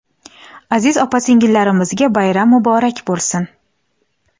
aziz opa-singillarimizga bayram muborak bo‘lsin!.